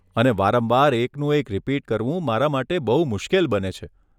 અને વારંવાર એકનું એક રિપીટ કરવું મારા માટે બહુ મુશ્કેલ બને છે.